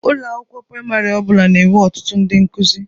Ụlọ akwụkwọ praịmarị ọ bụla na-enwe ọtụtụ ndị nkụzi.